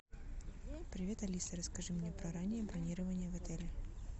привет алиса расскажи мне про раннее бронирование в отеле